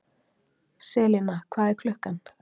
Selina, hvað er klukkan?